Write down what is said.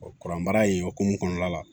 kuran baara in hukumu kɔnɔna la